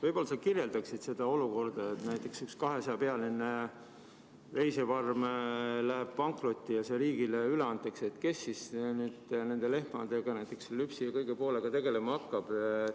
Võib-olla sa kirjeldaksid seda olukorda, et näiteks kui üks 200-pealine veisefarm läheb pankrotti ja see riigile üle antakse, siis kes nende lehmadega, näiteks lüpsi ja kõige sellega tegelema hakkab.